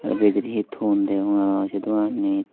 te bidire hi ton degong arow se doananit.